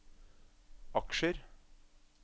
aksjer